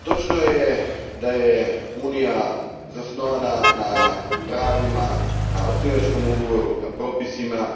Gospođo predsjednice, točno je da je Unija zasnovana na pravima, na osnivačkom ugovoru, na propisima